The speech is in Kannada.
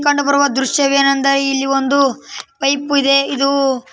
ಕಂಡು ಬರುವ ದೃಶ್ಯವೆನೆಂದರೆ ಇಲ್ಲಿ ಒಂದು ಪೈಪು ಇದೆ ಇದು --